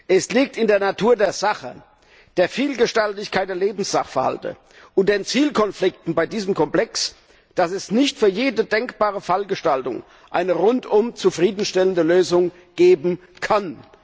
Es liegt in der Natur der Sache und an der Vielgestaltigkeit der Lebenssachverhalte und den Zielkonflikten bei diesem Komplex, dass es nicht für jede denkbare Fallgestaltung eine rundum zufriedenstellende Lösung geben kann.